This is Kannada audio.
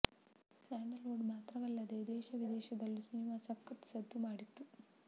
ಸ್ಯಾಂಡಲ್ ವುಡ್ ಮಾತ್ರವಲ್ಲದೆ ದೇಶ ವಿದೇಶದಲ್ಲೂ ಸಿನಿಮಾ ಸಖತ್ ಸದ್ದು ಮಾಡಿತ್ತು